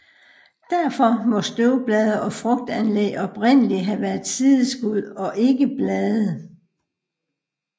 Derfor må støvblade og frugtanlæg oprindeligt have været sideskud og ikke blade